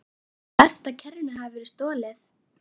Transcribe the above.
Verst að kerrunni skyldi hafa verið stolið.